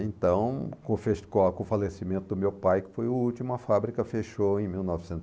Então, com o falecimento do meu pai, que foi o último, a fábrica fechou em mil novecentos,